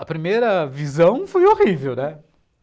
A primeira visão foi horrível, né?